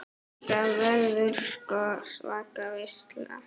Þetta verður sko svaka veisla.